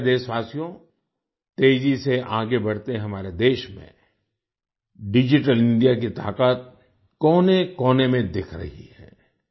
मेरे प्यारे देशवासियो तेजी से आगे बढ़ते हमारे देश में डिजिटल इंडिया की ताकत कोनेकोने में दिख रही है